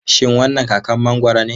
Shin wannan kakar mangoro ne?